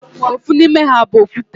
Ofu n'ime ha bu okwute.